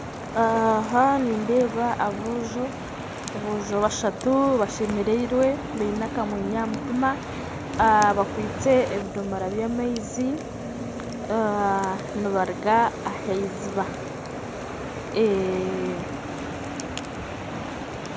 Aha nindeeba abojo bashatu bashemereirwe baine akamwenyu aha mutima bakwaite ebidomora bya amaizi nibaruga aha iziba